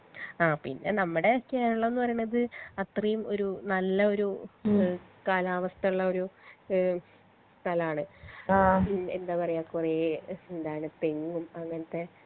ആ പിന്നെ നമ്മടെ കേരളം ന്ന് പറീണത് അത്രേം ഒരു നല്ലൊരു കാലാവസ്ഥള്ളൊരു ഏഹ് സ്ഥലാണ് പിന് എന്താ പറയാ കൊറേ എന്താണ് പെനും അങ്ങനത്തെ